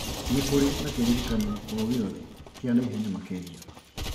nĩkũrĩ na kĩririkano o gĩothe kĩa na ihenya makĩria